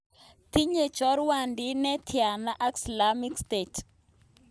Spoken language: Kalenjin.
Tinye chorwatit ne tianaa ak slamik state?